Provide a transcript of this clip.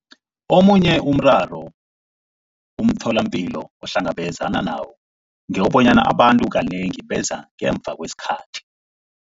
Omunye umraro umtholapilo ohlangabezana nawo ngewokobana abantu kanengi beza ngemva kwesikhathi.